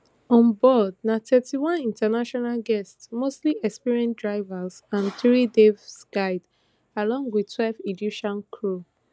on board na thirty-one international guests mostly experienced divers and three dive guides along wit twelve egyptian crew